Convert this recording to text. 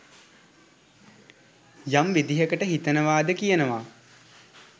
යම් විදිහකට හිතනවා ද කියනවා